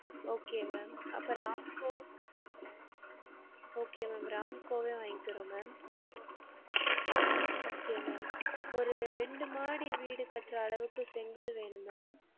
Okay ma'am அப்போ RAMCO okay ma'am RAMCO வே வாங்கிறோம் ma'am okay ma'am ஒரு ரெண்டு மாடி வீடு கட்ற அவுக்கு செங்கல் வேணும் ma'am